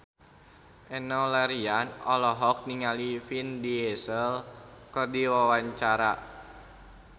Enno Lerian olohok ningali Vin Diesel keur diwawancara